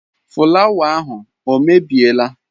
fụlawa ahụ o mebiela?